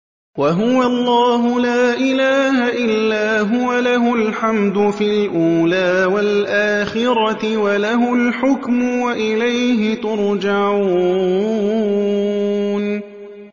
وَهُوَ اللَّهُ لَا إِلَٰهَ إِلَّا هُوَ ۖ لَهُ الْحَمْدُ فِي الْأُولَىٰ وَالْآخِرَةِ ۖ وَلَهُ الْحُكْمُ وَإِلَيْهِ تُرْجَعُونَ